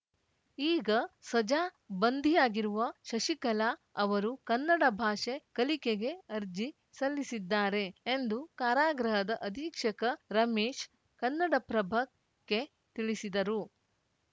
ಈಗ ಸಜಾ ಬಂಧಿಯಾಗಿರುವ ಶಶಿಕಲಾ ಅವರು ಕನ್ನಡ ಭಾಷೆ ಕಲಿಕೆಗೆ ಅರ್ಜಿ ಸಲ್ಲಿಸಿದ್ದಾರೆ ಎಂದು ಕಾರಾಗೃಹದ ಅಧೀಕ್ಷಕ ರಮೇಶ್‌ ಕನ್ನಡಪ್ರಭಕ್ಕೆ ತಿಳಿಸಿದರು